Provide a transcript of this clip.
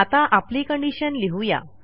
आता आपली conditionलिहू या